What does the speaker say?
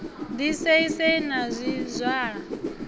ḓi sei sei na zwizwala